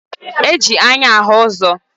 Eji anya ahụ ụzọ